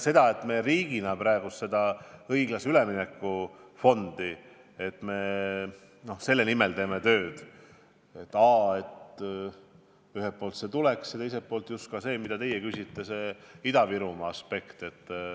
Aga me riigina praegu peame silmas õiglase ülemineku fondi ja teeme tööd selle nimel, et ühelt poolt see raha tuleks ja teiselt poolt arvestataks igati seda, mille kohta te ka küsisite: seda Ida-Virumaa aspekti.